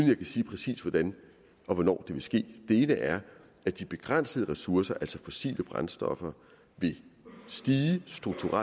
kan sige præcis hvordan og hvornår det vil ske den ene er at de begrænsede ressourcer altså fossile brændstoffer vil stige strukturelt